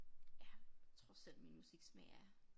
Ja tror selv min musiksmag er